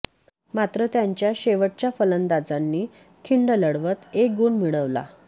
मात्र त्यांच्या शेवटच्या फलंदाजांनी खिंड लढवत एक गुण मिळवला